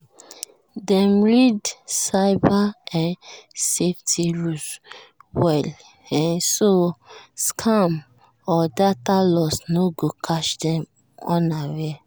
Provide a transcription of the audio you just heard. dem read cyber um safety rules um well um so scam or data loss no go catch dem unaware.